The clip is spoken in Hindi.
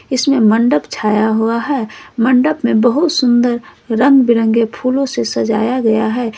इसमें मंडप छाया हुआ है मंडप में बहुत सुंदर रंग बिरंगे फूलों से सजाया गया है।